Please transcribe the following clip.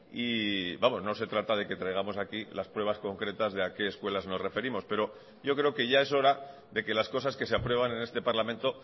y vamos no se trata de que traigamos aquí las pruebas concretas de a qué escuelas nos referimos pero yo creo que ya es hora de que las cosas que se aprueban en este parlamento